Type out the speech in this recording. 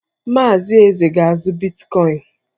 Maazị Eze ga-azụ bitkọịn.